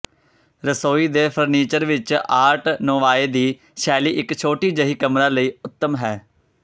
ਰਸੋਈ ਦੇ ਫਰਨੀਚਰ ਵਿਚ ਆਰਟ ਨੋਵਾਏ ਦੀ ਸ਼ੈਲੀ ਇਕ ਛੋਟੀ ਜਿਹੀ ਕਮਰਾ ਲਈ ਉੱਤਮ ਹੈ